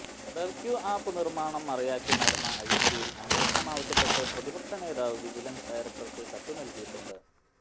BevQ app നിർമ്മാണം മറയാക്കി നടന്ന അഴിമതിയിൽ അന്വേഷണം ആവശ്യപ്പെട്ട് പ്രതിപക്ഷ നേതാവ് വിജിലൻസ് ഡയറക്ടർക്ക് കത്ത് നൽകിയിട്ടുണ്ട്